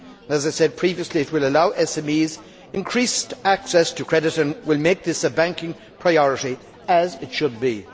As I said previously, it will allow SMEs increased access to credit and will make this a banking priority, as it should be.